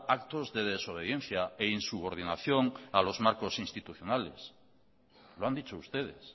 actos de desobediencia e insubordinación a los marcos institucionales lo han dicho ustedes